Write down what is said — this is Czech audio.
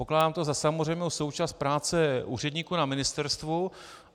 Pokládám to za samozřejmou součást práce úředníků na ministerstvu.